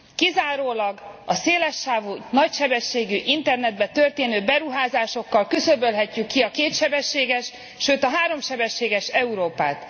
Kizárólag a széles sávú, nagysebességű internetbe történő beruházásokkal küszöbölhetjük ki a kétsebességes, sőt háromsebességes Európát.